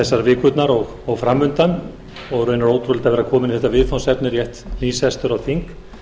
þessar vikurnar og framundan og raunar ótrúlegt að vera kominn í þetta viðfangsefni rétt nýsestur á þing